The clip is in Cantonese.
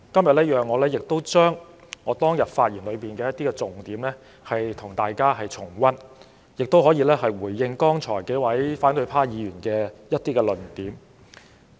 讓我與大家重溫我當天發言的一些重點，亦讓我回應剛才數位反對派議員提出的論點。